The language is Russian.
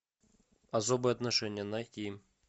особые отношения найти